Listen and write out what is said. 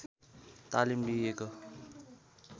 तालिम दिइएको